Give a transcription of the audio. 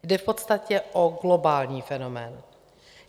Jde v podstatě o globální fenomén.